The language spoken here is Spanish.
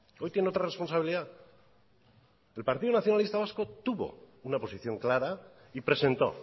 hoy tiene otra responsabilidad el partido nacionalista vasco tubo una posición clara y presentó